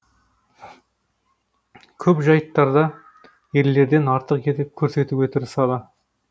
көп жайттарда ерлерден артық етіп көрсетуге тырысады